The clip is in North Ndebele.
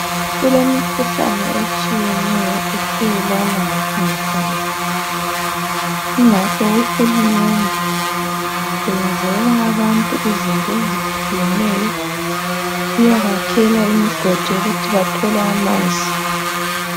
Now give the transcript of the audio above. Kule mikhuhlane etshiyeneyo ethelelwana ngokungahlanzeki kungakho uhulumende uyenzela abantu izinto ezitshiyeneyo. Uyabakela imigodi ukuthi bathole amanzi.